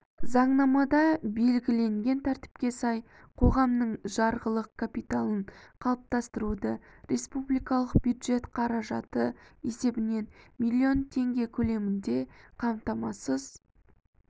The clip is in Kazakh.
заңнамада белгіленген тәртіпке сай қоғамның жарғылық капиталын қалыптастыруды республикалық бюджет қаражаты есебінен млн теңге көлемінде қамтамасыз